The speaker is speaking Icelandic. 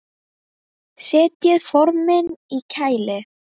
Setjið formin í kæli.